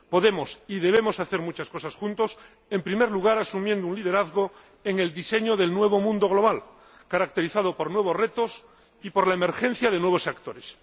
Podemos y debemos hacer muchas cosas juntos, en primer lugar, asumiendo un liderazgo en el diseño del nuevo mundo global, caracterizado por nuevos retos y por la emergencia de nuevos actores.